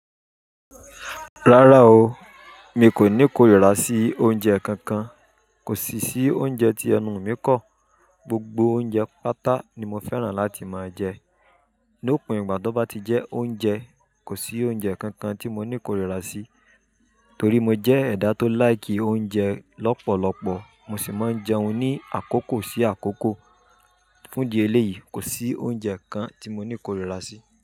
Rárá o, mi kò ní korira sí oúnjẹ kankan, kò sì sí oúnjẹ tí ẹnu mi kọ́. Gbogbo oúnjẹ pátá ni mo fẹ́ràn láti máa jẹ. Ní òpin ìgbà tọ́bà ti jẹ oúnjẹ, kò sí oúnjẹ kankan tí mo ní korira sí. Torí mo jẹ́ ẹ̀dá tó láìkì oúnjẹ lọ́pọ̀lọpọ̀, mo sì máa ń jẹun ní àkókò sí àkókò. Fún di elé yìí, kò sí oúnjẹ kan tí mo ní korira sí.